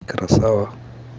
красава